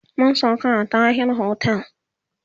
mun sauka a Tahir otel